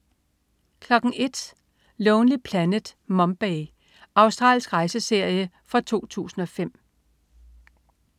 01.00 Lonely Planet: Mumbai. Australsk rejseserie fra 2005